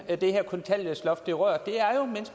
af det her kontanthjælpsloft